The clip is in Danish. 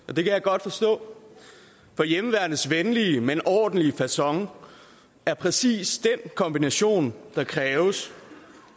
og det kan jeg godt forstå for hjemmeværnets venlige men ordentlige facon er præcis den kombination der kræves